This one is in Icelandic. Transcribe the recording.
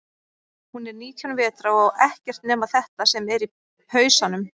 Hún er nítján vetra og á ekkert nema þetta sem er í pausanum.